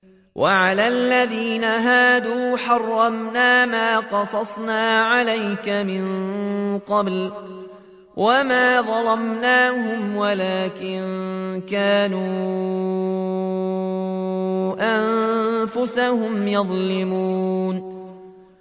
وَعَلَى الَّذِينَ هَادُوا حَرَّمْنَا مَا قَصَصْنَا عَلَيْكَ مِن قَبْلُ ۖ وَمَا ظَلَمْنَاهُمْ وَلَٰكِن كَانُوا أَنفُسَهُمْ يَظْلِمُونَ